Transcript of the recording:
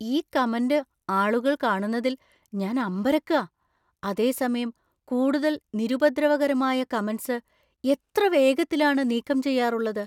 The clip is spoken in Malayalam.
ഈ കമന്‍റ് ആളുകൾ കാണുന്നതിൽ ഞാൻ അമ്പരക്കാ. അതേസമയം കൂടുതൽ നിരുപദ്രവകരമായ കമന്‍റ് സ് എത്ര വേഗത്തിലാണ് നീക്കം ചെയ്യാറുള്ളത്!